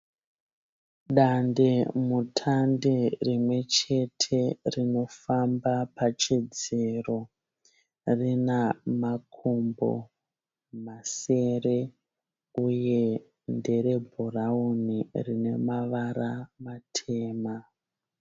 Dandemutande rimwechete rinofamba pachidziro. Rinamakumbo masere uye nderebhurauni rinemavara matema.